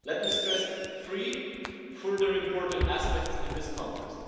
Let me stress three further important aspects in this context.